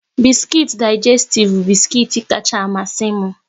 Biskuit Digestif bu biskuit kacha amasi m